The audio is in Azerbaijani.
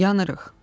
Yanırıq!